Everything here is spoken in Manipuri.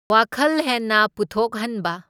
ꯋꯥꯈꯜ ꯍꯦꯟꯅ ꯄꯨꯊꯣꯛꯍꯟꯕ꯫